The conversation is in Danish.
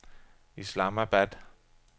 Islamabad